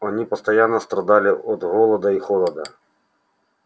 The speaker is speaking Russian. они постоянно страдали от голода и холода